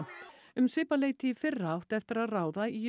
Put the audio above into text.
um svipað leyti í fyrra átti eftir að ráða í